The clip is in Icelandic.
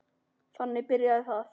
Þannig byrjaði það.